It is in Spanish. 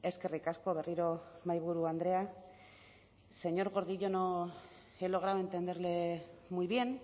eskerrik asko berriro mahaiburu andrea señor gordillo no he logrado entenderle muy bien